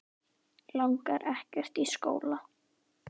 Langar ekkert í skóla.